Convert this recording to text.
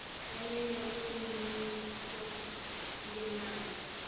kanye nekwenyusa linani